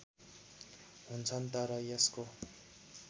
हुन्छन् तर यसको